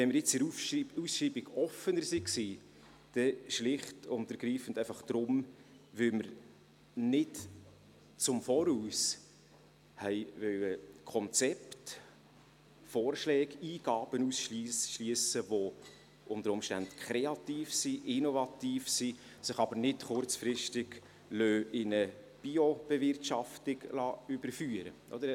Wenn wir jetzt in der Ausschreibung offener waren, dann schlicht und ergreifend deshalb, weil wir nicht im Voraus Konzepte, Vorschläge, Eingaben ausschliessen wollten, die unter Umständen kreativ, innovativ sind, sich aber nicht kurzfristig in eine Biobewirtschaftung überführen lassen.